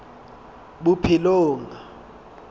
bophelong